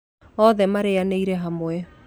Othe marĩnyanĩire hamwe